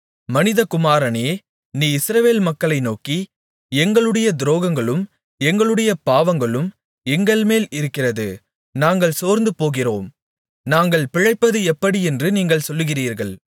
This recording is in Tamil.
மனிதகுமாரனே நீ இஸ்ரவேல் மக்களை நோக்கி எங்களுடைய துரோகங்களும் எங்களுடைய பாவங்களும் எங்கள்மேல் இருக்கிறது நாங்கள் சோர்ந்துபோகிறோம் நாங்கள் பிழைப்பது எப்படியென்று நீங்கள் சொல்லுகிறீர்கள்